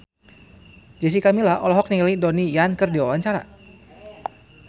Jessica Milla olohok ningali Donnie Yan keur diwawancara